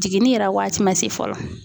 Jiginni yɛrɛ waati ma se fɔlɔ